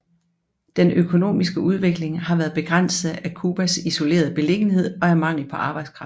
Den økonomiske udvikling har været begrænset af Cuiabás isolerede beliggenhed og af mangel på arbejdskraft